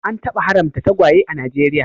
An taba haramta tagwaye a Najeriya